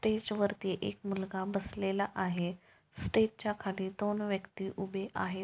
Stage वरती एक मुलगा बसलेला आहे स्टेजच्या खाली दोन व्यक्ति उभे आहेत.